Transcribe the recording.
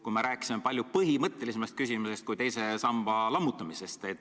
Jutt on ju palju põhimõttelisemast muudatusest kui teise samba lammutamisest.